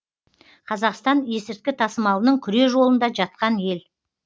қазақстан есірткі тасымалының күре жолында жатқан ел